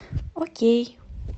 окей